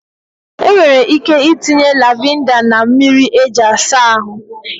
Enwere ike itinye lavinda na mmiri eji asa ahụ.